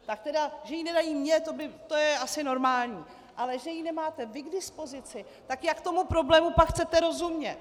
Tak tedy že ji nedají mně, to je asi normální, ale že ji nemáte vy k dispozici, tak jak tomu problému pak chcete rozumět?